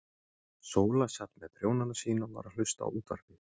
Sóla sat með prjónana sína og var að hlusta á útvarpið.